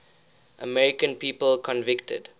american people convicted